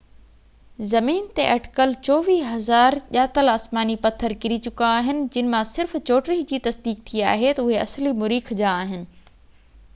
زمين تي اٽڪل 24،000 ڄاتل آسماني پٿر ڪري چڪا آهن جن مان صرف 34 جي تصديق ٿي آهي تہ اهي اصلي مريخ جا آهن